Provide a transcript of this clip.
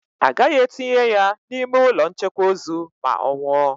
Agaghị etinye ya n'ime ụlọ nchekwa ozu ma ọ nwụọ.